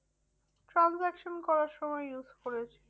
Transaction করার সময় use করেছি।